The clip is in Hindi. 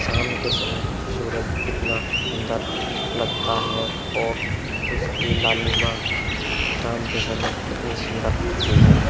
शाम के समय सूरज कितना सुंदर लगता है और उसकी लालिमा शाम के समय कितनी सुंदर लगती है।